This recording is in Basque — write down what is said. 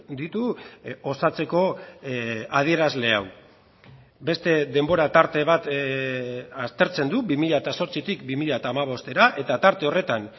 ditu osatzeko adierazle hau beste denbora tarte bat aztertzen du bi mila zortzitik bi mila hamabostera eta tarte horretan